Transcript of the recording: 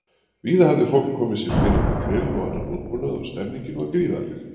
Víða hafði fólk komið sér fyrir með grill og annan útbúnað og stemmningin var gríðarleg.